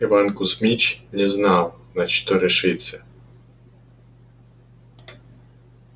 иван кузьмич не знал на что решиться